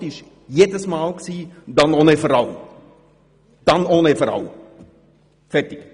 Die Antwort war jedes Mal: «Dann ohne Frau» – Fertig.